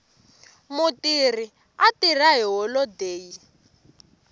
mutirhi a tirha hi holodeyi